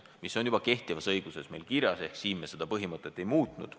See on juba kehtivas õiguses kirjas ehk me seda põhimõtet ei muutnud.